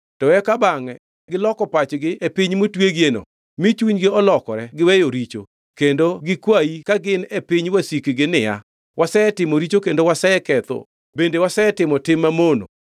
to eka bangʼe giloko pachgi e piny motwegieno mi chunygi olokore giweyo richo, kendo gikwayi ka gin e piny wasikgi niya, ‘Wasetimo richo kendo waseketho bende wasetimo tim mamono.’